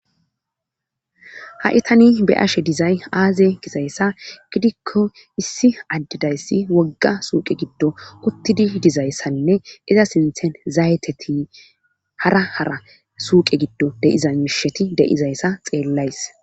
ha7itani be ashe dizay aaze gizayssa gidikko issi addidayssi wogga suuqe giddo uttidi dizayssanne iza sinthen zayeteti hara hara suuqe giddo deiza miisheti de7izayssa xeellays